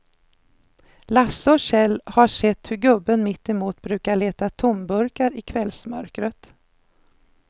Lasse och Kjell har sett hur gubben mittemot brukar leta tomburkar i kvällsmörkret.